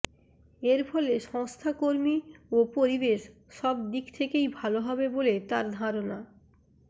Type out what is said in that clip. এরফলে সংস্থা কর্মী ও পরিবেশ সব দিক থেকেই ভাল হবে বলে তাঁর ধারণা